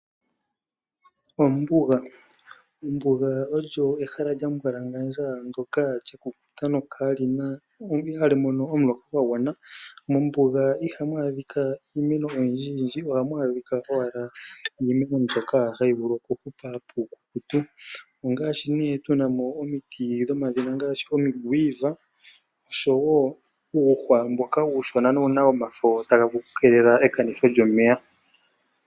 Ombuga Ombuga olyo ehala lya mbwalangandja ndyoka lyakukuta ano ihali mono omuloka gwa gwana. Mombuga ihamu adhika iimeno oyindjiyindji. Ohamu adhika owala iimeno mbyoka hayi vulu okuhupa puukukutu ongaashi nee tu na mo omiti dhomaludhina ngaashi omiquiver oshowo uuhwa mboka uushona nowu na omafo taga vulu okukeelele ekanitho lyomeya.